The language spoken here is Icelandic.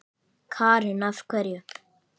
Karen: Af hverju?